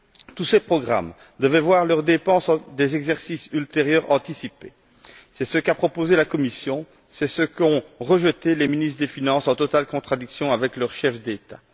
Tous ces programmes devaient voir leurs dépenses des exercices ultérieurs anticipées. C'est ce qu'a proposé la Commission, c'est ce qu'ont rejeté les ministres des finances, en totale contradiction avec leurs chefs d'État.